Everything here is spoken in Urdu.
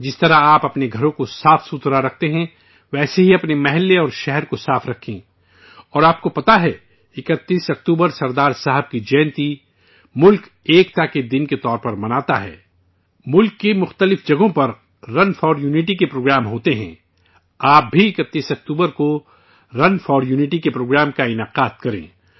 جیسے آپ اپنے گھر کو صاف رکھتے ہیں، ویسے ہی اپنے محلے اور شہر کو صاف رکھیں اور آپ کو معلوم ہے، 31 اکتوبر سردار صاحب کی جینتی کو ملک ایکتا دیوس کے طور پر مناتا ہے، ملک کے متعدد مقامات پر رون فور یونٹی کے پروگرام ہوتے ہیں، آپ بھی 31 اکتوبر کو رون فور یونٹی کے پروگرام منعقد کریں